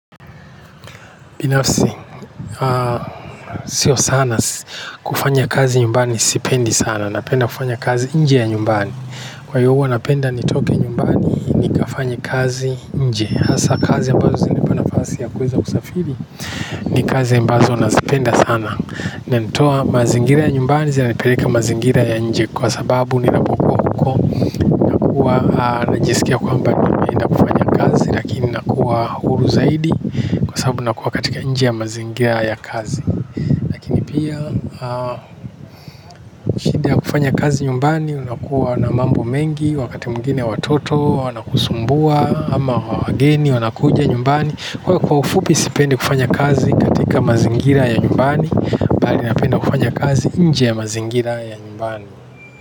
Binafsi sio sana kufanya kazi nyumbani sipendi sana. Napenda kufanya kazi nje ya nyumbani. Kwa hiyo huwa napenda nitoke nyumbani nikafanye kazi nje. Hasa kazi ambazo zinanipa nafasi ya kuweza kusafiri ni kazi ambazo nazipenda sana. Na zinanitoa mazingira ya nyumbani zinanipeleka mazingira ya nje kwa sababu ninapokuwa huko huwa najisikia kwamba ninafanya kazi. Lakini nakuwa huru zaidi kwa sababu nakuwa katika nje ya mazingira ya kazi. Pia kufanya kazi nyumbani unakuwa na mambo mengi wakati mwingine watoto wanakusumbua ama wageni wanakuja nyumbani. Kwa ufupi sipendi kufanya kazi katika mazingira ya nyumbani bali napenda kufanya kazi nje ya mazingira ya nyumbani.